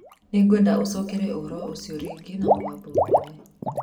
Nĩngwenda ũcooke ũhoro ũcio rĩngĩ na mũgambo mũnene.